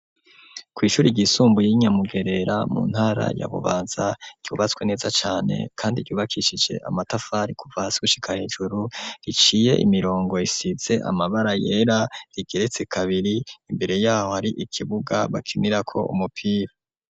Kw'ishure ry'isunbuye y'inyamugerera mu ntara ya bubanza ryubatswe neza cane kandi ryubakishije amatafari kuva hasi gushika hejuru riciye imirongo ikisitse amabara yera rigeretse kabiri imbere yaho hari ikibuga bakinirako umupira.